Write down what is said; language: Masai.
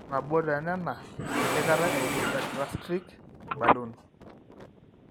ore nabo oone a naa empikata e intragastric balloon